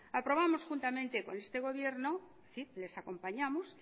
aprobamos juntamente con este gobierno es decir les acompañamos